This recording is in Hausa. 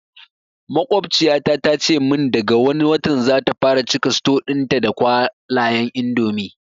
Maƙwabciyata ta ce mun daga wani watan zata fara cika suto ɗin ta da kwalayan indomi